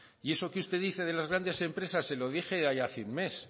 y eso que usted dice de las grandes empresas se lo dije ya hace un mes